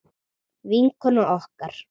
Vinkona okkar.